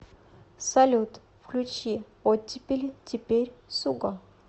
салют включи оттепели теперь суго